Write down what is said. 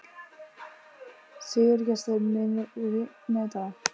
Sigurgestur, mun rigna í dag?